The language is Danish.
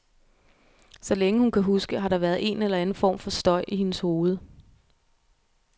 Så længe hun kan huske, har der været en eller anden form for støj i hendes hoved.